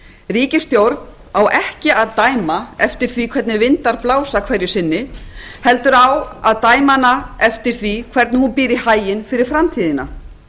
ríkisstjórn á ekki að dæma eftir því hvernig vindar blása hverju sinni heldur á að dæma hana eftir því hvernig hún býr í haginn fyrir framtíðina